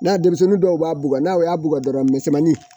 N'a denmisɛnnin dɔw b'a bugɔ n'a y'a bugɔ dɔrɔn misɛnmanin